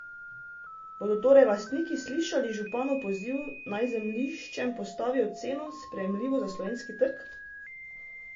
Bodo torej lastniki slišali županov poziv, naj zemljiščem postavijo ceno, sprejemljivo za slovenski trg?